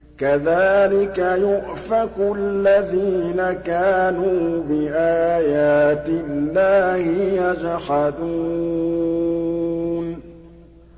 كَذَٰلِكَ يُؤْفَكُ الَّذِينَ كَانُوا بِآيَاتِ اللَّهِ يَجْحَدُونَ